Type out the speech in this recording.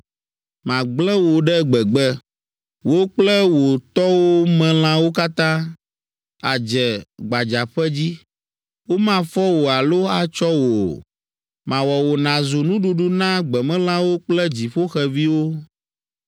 Magblẽ wò ɖe gbegbe, wò kple wò tɔwo me lãwo katã; àdze gbadzaƒe dzi, womafɔ wò alo atsɔ wò o. Mawɔ wò nàzu nuɖuɖu na gbemelãwo kple dziƒoxeviwo.